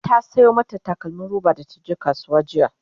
ta Sayo mata takalmim roba da taje kasuwa jiya